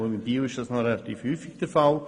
In Biel ist das relativ häufig der Fall.